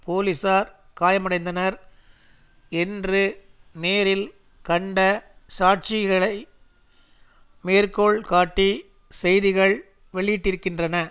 போலீசார் காயமடைந்தனர் என்று நேரில் கண்ட சாட்சிகளை மேற்கோள் காட்டி செய்திகள் வெளியிட்டிருக்கின்றன